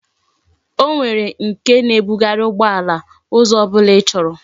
O nwere nke na ebughari ugbo ala, Uzo obula ichoro